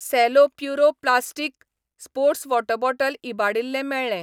Cello Puro plastic sports water bottle इबाडिल्लें मेळ्ळें.